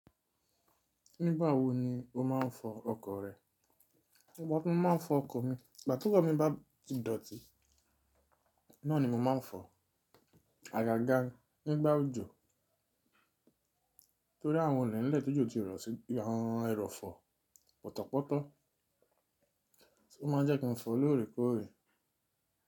Nígbà wo ni o máa ń fọ ọkọ̀ rẹ? Ekan kan ni máa ń fọ ọkọ̀ mi ìgbà tí ọkọ̀ mi bá ti dọ̀tí, náà ni mo máa ń fọ, àgàgà nígbà òjò torí àwọn ọ̀nà ilé tó jò ti rọ̀ sí àwọn ẹrọ̀fọ̀ pọ́tọ̀pọ́tọ́, ó máa ń jẹ́ kí n fọ lóòrèkóòrè.